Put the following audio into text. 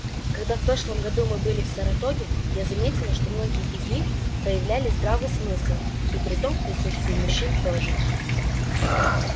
когда в прошлом году мы были в саратоге я заметила что многие из них проявляли здравый смысл и притом в присутствии мужчин тоже